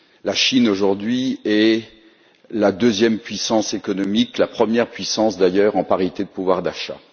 La Chine, aujourd'hui, est la deuxième puissance économique, et la première puissance, d'ailleurs, en parité de pouvoir d'achat.